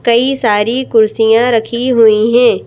कई सारी कुर्सियां रखी हुई हैं।